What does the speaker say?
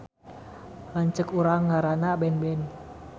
Lanceuk urang ngaranna Benben